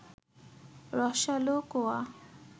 রসালো কোয়া